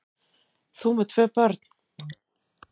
Þú með tvö börn!